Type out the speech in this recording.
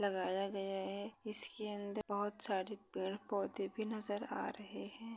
लगाया गया है। इसके अंदर बोहोत सारे पेड पौधे भी नजर आ रहे है।